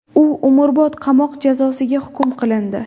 U umrbod qamoq jazosiga hukm qilindi .